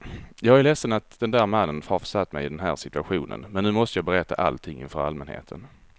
Jag är ledsen att den där mannen har försatt mig i den här situationen, nu måste jag berätta allting inför allmänheten.